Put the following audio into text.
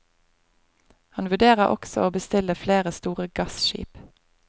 Han vurderer også å bestille flere store gasskip.